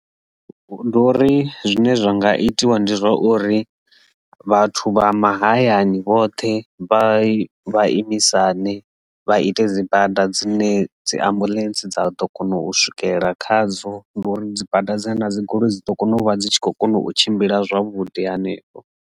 Ndi uri zwine zwa nga itiwa ndi zwa uri vhathu vha mahayani vhoṱhe vha vha imisane vha ite dzi bada dzine dzi ambuḽentse dza vha ḓo kona u swikela khadzo ndi uri dzi bada dzine nda dzi goloi dzi ḓo kona u vha dzi tshi kho kona u tshimbila zwavhuḓi hanefho.